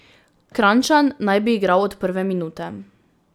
Kranjčan naj bi igral od prve minute.